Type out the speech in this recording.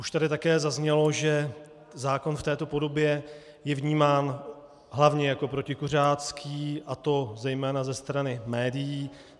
Už tady také zaznělo, že zákon v této podobě je vnímán hlavně jako protikuřácký, a to zejména ze strany médií.